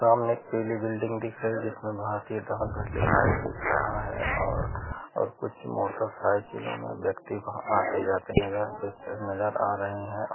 समाने एक पीली बिल्डिंग दीख रही हैं जिसमे भारतीय डाक घर लिखा हैं दिख रहा हैंओर और कुछ मोटरसाइकिलो मे व्यक्ति आते-जाते नज़र आ रहैं हैं।